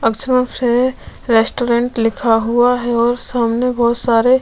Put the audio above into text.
अक्षरों से रेस्टोरेंट लिखा हुआ है और सामने बहुत सारे --